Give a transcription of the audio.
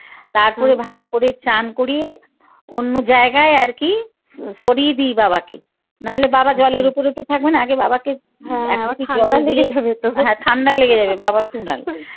তারপরে ভালো করে চান করিয়ে অন্য জায়গায় আরকি সরিয়ে দিই বাবাকে নাহলে বাবা জলের উপরে তো থাকবে না আগে বাবাকে হ্যাঁ ঠান্ডা লেগে যাবে বাবার